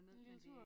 En lille tur